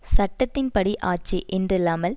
சட்டத்தின் படி ஆட்சி என்றில்லாமல்